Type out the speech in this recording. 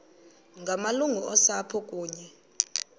ngamalungu osapho kunye